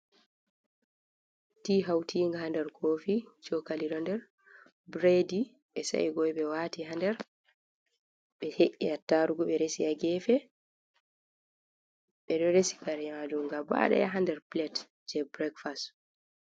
Ti hawtiinga haa nder Koofi, cookali ɗo nder, bureedi ɓe sa'i Koy ɓe waati haa nder, ɓe he''i Attaarugu ɓe resi ha geefe, ɓe ɗo resi kare maajum gabaaɗaya haa nder pilet jey burekfas.